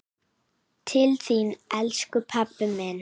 Til þín, elsku pabbi minn.